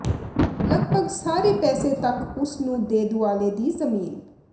ਲਗਭਗ ਸਾਰੇ ਪਾਸੇ ਤੱਕ ਉਸ ਨੂੰ ਦੇ ਦੁਆਲੇ ਦੀ ਜ਼ਮੀਨ